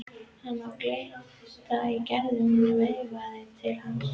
Hann sá glitta í Gerði og hún veifaði til hans.